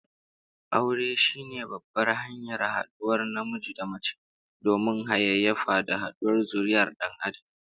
Aure shine babbar hanyar haduwar namiji da mace domin hayayyafa da yaduwar zurriyyar Dan Adam